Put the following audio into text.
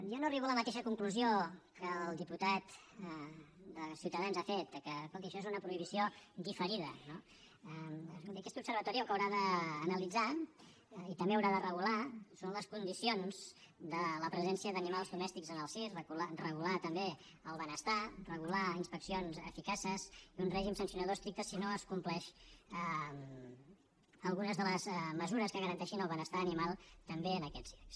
jo no arribo a la mateixa conclusió que el diputat de ciutadans ha fet escolti això és una prohibició diferida no escolti aquest observatori el que haurà d’analitzar i també haurà de regular són les condicions de la presència d’animals domèstics en el circ regular ne també el benestar regular inspeccions eficaces i un règim sancionador estricte si no es compleixen algunes de les mesures que garanteixin el benestar animal també en aquests circs